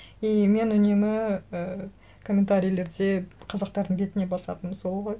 и мен үнемі ііі комментарийлерде қазақтардың бетіне басатыным сол ғой